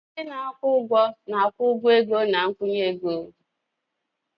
Ndị na-akwụ ụgwọ ga-akwụ ụgwọ ego na nkwụnye ego.